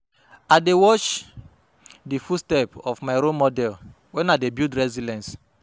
I dey watch di footstep of my role model when i dey build resilience.